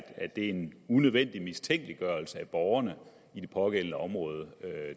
det er en unødvendig mistænkeliggørelse af borgerne i de pågældende områder